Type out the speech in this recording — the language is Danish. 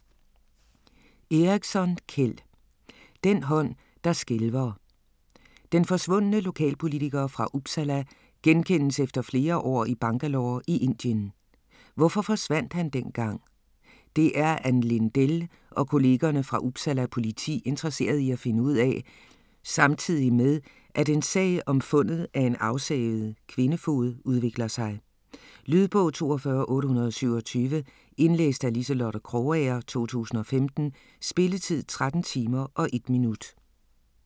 Eriksson, Kjell: Den hånd der skælver Den forsvundne lokalpolitiker fra Uppsala genkendes efter flere år i Bangalore i Indien. Hvorfor forsvandt han dengang? Det er Ann Lindell og kollegerne fra Uppsala politi interesseret i at finde ud af - samtidig med at en sag om fundet af en afsavet kvindefod udvikler sig. Lydbog 42827 Indlæst af Liselotte Krogager, 2015. Spilletid: 13 timer, 1 minut.